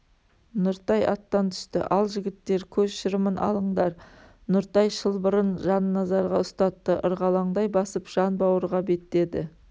нұртай аттан түсті ал жігіттер көз шырымын алыңдар нұртай шылбырын жанназарға ұстатты ырғалаңдай басып жанбауырға беттеді